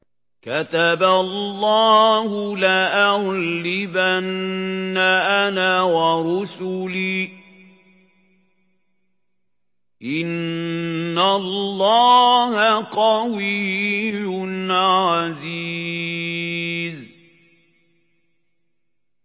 كَتَبَ اللَّهُ لَأَغْلِبَنَّ أَنَا وَرُسُلِي ۚ إِنَّ اللَّهَ قَوِيٌّ عَزِيزٌ